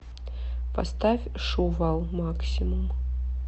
поставь шувал максимум